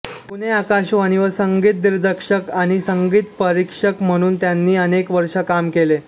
पुणे आकाशवाणीवर संगीतदिग्दर्शक आणि संगीतपरीक्षक म्हणून त्यांनी अनेक वर्षे काम केले